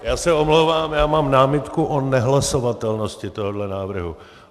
Já se omlouvám, já mám námitku o nehlasovatelnosti tohohle návrhu.